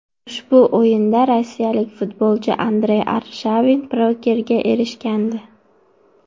Ushbu o‘yinda rossiyalik futbolchi Andrey Arshavin pokerga erishgandi.